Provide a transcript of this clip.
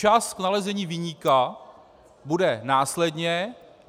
Čas k nalezení viníka bude následně.